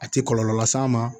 A tɛ kɔlɔlɔ las'a ma